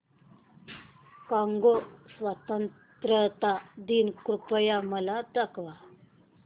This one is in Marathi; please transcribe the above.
कॉंगो स्वतंत्रता दिन कृपया मला दाखवा